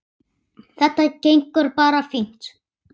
Þetta gengur bara fínt.